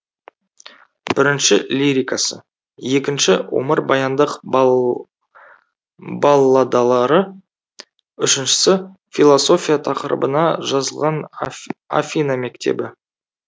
бірінші лирикасы екінші өмірбаяндық балладалары үшіншісі философия тақырыбына жазылған афина мектебі